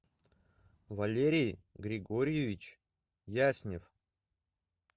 валерий григорьевич яснев